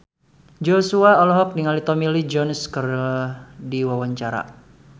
Joshua olohok ningali Tommy Lee Jones keur diwawancara